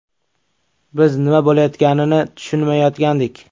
Biz nima bo‘layotganini tushunmayotgandik.